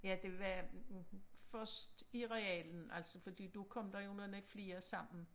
Ja det var først i realen altså fordi da kom der jo nogle flere sammen